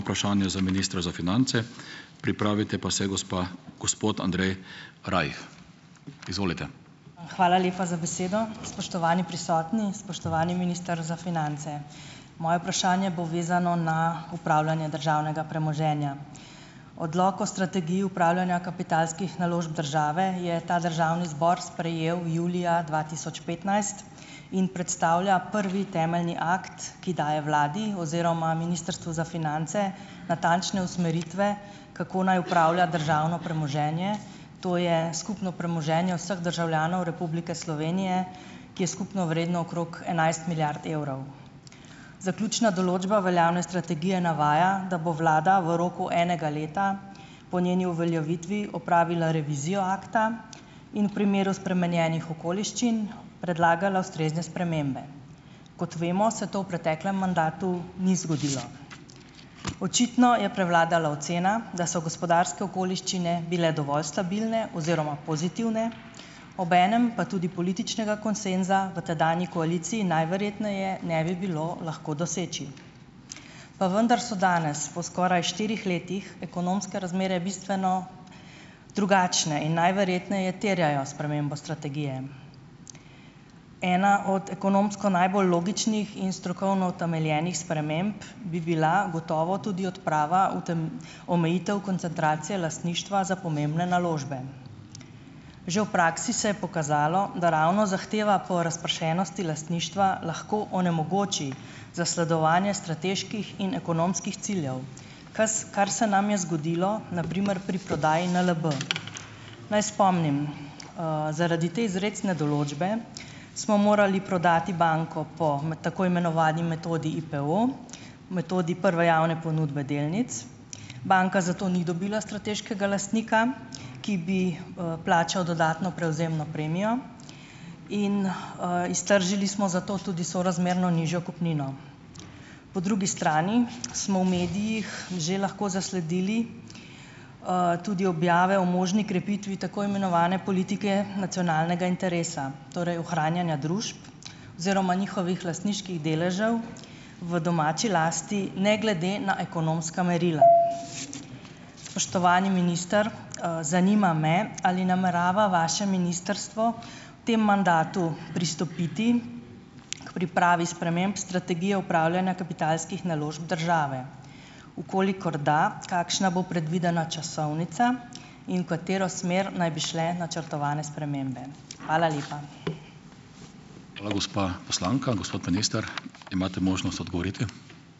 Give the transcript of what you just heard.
Hvala lepa za besedo. Spoštovani prisotni, spoštovani minister za finance. Moje vprašanje bo vezano na upravljanje državnega premoženja. Odlok o strategiji upravljanja kapitalskih naložb države je ta državni zbor sprejel julija dva tisoč petnajst in predstavlja prvi temeljni akt, ki daje vladi oziroma Ministrstvu za finance natančne usmeritve, kako naj upravlja državno premoženje, to je skupno premoženje vseh državljanov Republike Slovenije, ki je skupno vredno okrog enajst milijard evrov. Zaključna določba veljavne strategije navaja, da bo vlada v roku enega leta po njeni uveljavitvi opravila revizijo akta in v primeru spremenjenih okoliščin, predlagala ustrezne spremembe. Kot vemo, se to v preteklem mandatu ni zgodilo. Očitno je prevladala ocena, da so gospodarske okoliščine bile dovolj stabilne oziroma pozitivne, obenem pa tudi političnega konsenza v tedanji koaliciji najverjetneje ne bi bilo lahko doseči. Pa vendar so danes, po skoraj štirih letih, ekonomske razmere bistveno drugačne in najverjetneje terjajo spremembo strategije. Ena od ekonomsko najbolj logičnih in strokovno utemeljenih sprememb bi bila gotovo tudi odprava omejitev koncentracije lastništva za pomembne naložbe. Že v praksi se je pokazalo, da ravno zahteva po razpršenosti lastništva lahko onemogoči zasledovanje strateških in ekonomskih ciljev, kar se nam je zgodilo na primer pri prodaji NLB. Naj spomnim, zaradi te izrecne določbe, smo morali prodati banko po tako imenovani metodi IPEO, metodi prve javne ponudbe delnic. Banka zato ni dobila strateškega lastnika, ki bi, plačal dodatno prevzemno premijo in, iztržili smo zato tudi sorazmerno nižjo kupnino. Po drugi strani smo v medijih že lahko zasledili, tudi objave o možni krepitvi tako imenovane politike nacionalnega interesa, torej ohranjanja družb oziroma njihovih lastniških deležev v domači lasti, ne glede na ekonomska merila. Spoštovani minister, zanima me, ali namerava vaše ministrstvo v tem mandatu pristopiti k pripravi sprememb strategije upravljanja kapitalskih naložb države? V kolikor da, kakšna bo predvidena časovnica in v katero smer naj bi šle načrtovane spremembe? Hvala lepa.